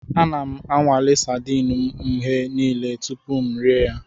Ana m anwale sadin m mgbe niile tupu m erie ha.